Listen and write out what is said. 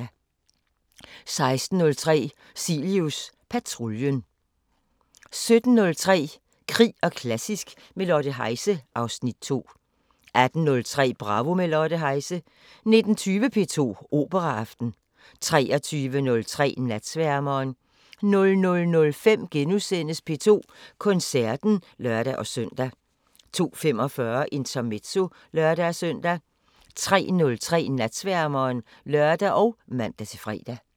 16:03: Cilius patruljen 17:03: Krig og klassisk – med Lotte Heise (Afs. 2) 18:03: Bravo – med Lotte Heise 19:20: P2 Operaaften 23:03: Natsværmeren 00:05: P2 Koncerten *(lør-søn) 02:45: Intermezzo (lør-søn) 03:03: Natsværmeren (lør og man-fre)